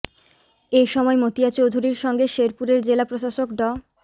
এ সময় মতিয়া চৌধুরীর সঙ্গে শেরপুরের জেলা প্রশাসক ড